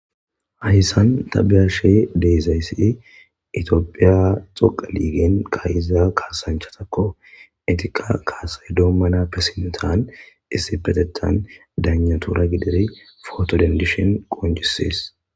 Hayisan ta be'ashe dizayis itophey kileben ka'ida kasanichatako etika kase domanape sinithe isipetethan dayinatura gididi poto denididaysa qonicises